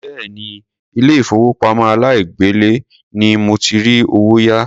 Béèni ilé ìfowópamọ́ aláìgbèlé ni mo ti rí owó yá.